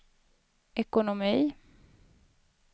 ekonomi